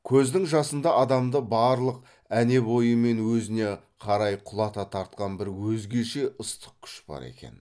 көздің жасында адамды барлық әне бойымен өзіне қарай құлата тартқан бір өзгеше ыстық күш бар екен